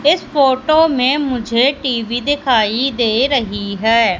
इस फोटो में मुझे टी_वी दिखाई दे रही है।